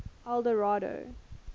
eldorado